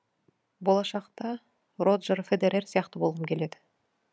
болашақта роджер федерер сияқты болғым келеді